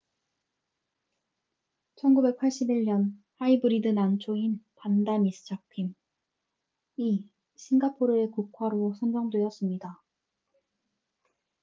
1981년 하이브리드 난초인 반다 미스 자큄vanda miss joaquim이 싱가포르의 국화로 선정되었습니다